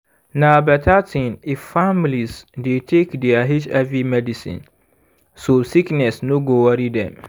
na better thing if families dey take their hiv medicine so sickness no go worry dem.